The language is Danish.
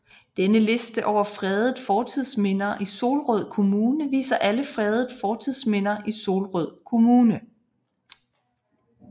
Denne liste over fredede fortidsminder i Solrød Kommune viser alle fredede fortidsminder i Solrød Kommune